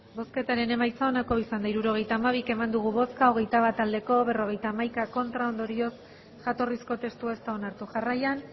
hirurogeita hamabi eman dugu bozka hogeita bat bai berrogeita hamaika ez ondorioz jatorrizko testua ez da onartu jarraian